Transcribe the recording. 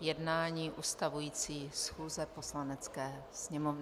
jednání ustavující schůze Poslanecké sněmovny.